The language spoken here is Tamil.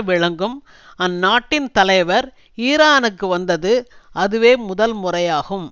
விளங்கும் அந்நாட்டின் தலைவர் ஈரானுக்கு வந்தது அதுவே முதல் முறையாகும்